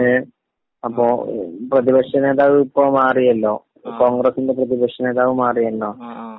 ങേ...അപ്പൊ പ്രതിപക്ഷ നേതാവ് ഇപ്പൊ..ഇപ്പൊ മാറിയല്ലോ...കോൺഗ്രസിന്റെ പ്രതിപക്ഷ നേതാവ് മാറിയല്ലോ..